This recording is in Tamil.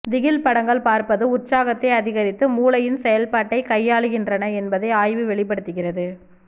திகில் படங்கள் பார்ப்பது உற்சாகத்தை அதிகரித்து மூளையின் செயல்பாட்டைக் கையாளுகின்றன என்பதை ஆய்வு வெளிப்படுத்துகிறது